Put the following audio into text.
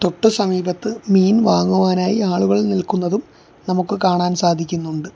തൊട്ട് സമീപത്ത് മീൻ വാങ്ങുവാനായി ആളുകൾ നിൽക്കുന്നതും നമുക്ക് കാണാൻ സാധിക്കുന്നുണ്ട്.